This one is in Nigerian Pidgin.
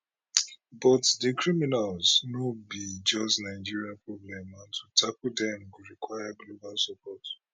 but di criminals no be just nigeria problem and to tackle dem go require global support